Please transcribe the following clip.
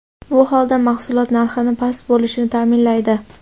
Bu holda mahsulot narxini past bo‘lishini ta’minlaydi.